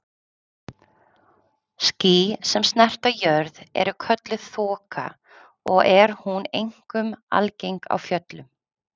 Ský sem snerta jörð eru kölluð þoka og er hún einkum algeng á fjöllum.